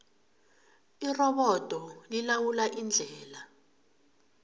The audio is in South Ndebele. irobodo lilawula indlela